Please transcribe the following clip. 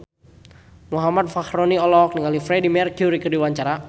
Muhammad Fachroni olohok ningali Freedie Mercury keur diwawancara